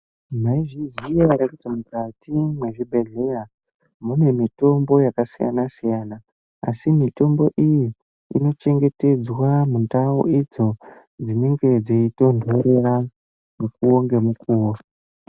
Maizviziva here kuti mukati mezvibhehlera mune mitombo yakasiyana siyana asi mitombo iyi inochengetedzwa mundau idzo dzinenge dzichitonhorera mukuwo ngemukuwo.